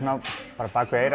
á bak við eyrað